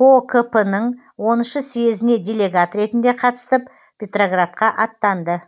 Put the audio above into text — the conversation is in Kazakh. кокп ның оныншы съезіне делегат ретінде қатысып петроградқа аттанды